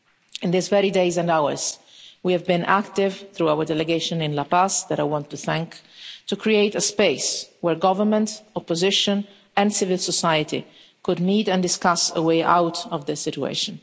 In these very days and hours, we have been active through our delegation in La Paz, whom I want to thank in creating a space where government, opposition and civil society could meet and discuss a way out of this situation.